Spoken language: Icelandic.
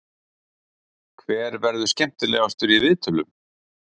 Hver verður skemmtilegastur í viðtölum?